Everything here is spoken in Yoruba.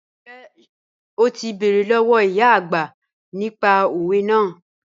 Njẹ́ o ti bẹ̀rẹ̀ lọ́wọ̀ ìyá ọagbà nípà òwẹ̀ naà?